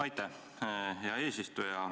Aitäh, hea eesistuja!